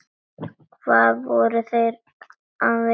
Hvað voru þeir að vilja?